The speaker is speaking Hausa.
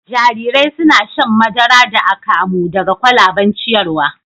Jarirai suna shan madara da akamu daga kwalaben ciyarwa